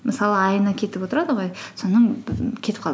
мысалы айына кетіп отырады ғой соның кетіп қалды